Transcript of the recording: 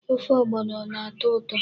Ofe ọgbọnọ na-atọ ụtọ.